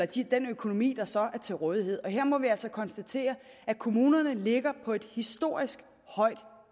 til den økonomi der så er til rådighed og her må vi altså konstatere at kommunerne ligger på et historisk højt